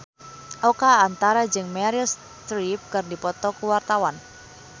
Oka Antara jeung Meryl Streep keur dipoto ku wartawan